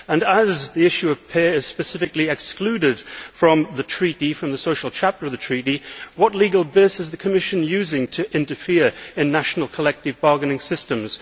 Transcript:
And, as the issue of pay is specifically excluded from the social chapter of the Treaty, what legal basis is the Commission using to interfere in national collective bargaining systems?